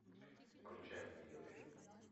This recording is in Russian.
включаем видеофильм